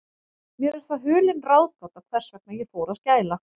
Mér er það hulin ráðgáta, hvers vegna ég fór að skæla.